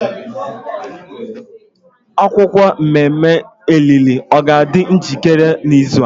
akwukwuo mmemme olili o ga adi njikere n'izu a?